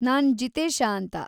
ನಾನ್‌ ಜಿತೇಶ ಅಂತ.